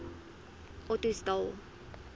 ottosdal